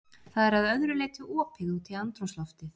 Það er að öðru leyti opið út í andrúmsloftið.